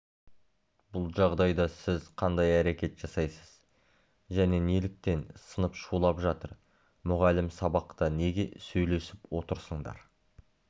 бұл жағдайда сіз қандай әрекет жасайсыз және неліктен сынып шулап жатыр мұғалім сабақта неге сөйлесіп отырсыңдар